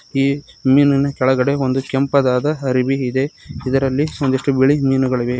ಈ ಮೀನಿನ ಕೆಳಗಡೆ ಒಂದು ಕೆಂಪದಾದ ಅರವಿ ಇದೆ ಇದರಲ್ಲಿ ಒಂದಿಷ್ಟು ಬಿಳಿ ಮೀನುಗಳಿವೆ.